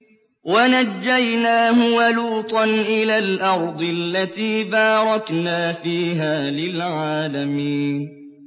وَنَجَّيْنَاهُ وَلُوطًا إِلَى الْأَرْضِ الَّتِي بَارَكْنَا فِيهَا لِلْعَالَمِينَ